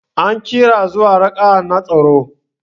An kira zuwa raka'a na tsaro.